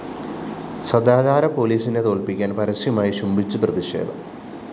സദാചാര പോലീസിനെ തോല്‍പ്പിക്കാന്‍ പരസ്യമായി ചുംബിച്ചു പ്രതിഷേധം